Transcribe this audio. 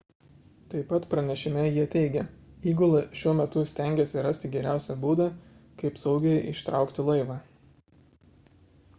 taip pat pranešime jie teigia įgula šiuo metu stengiasi rasti geriausią būdą kaip saugiai ištraukti laivą